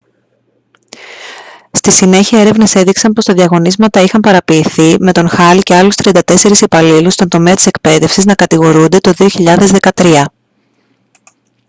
στη συνέχεια έρευνες έδειξαν πως τα διαγωνίσματα είχαν παραποιηθεί με τον hall και άλλους 34 υπαλλήλους στον τομέα της εκπαίδευσης να κατηγορούνται το 2013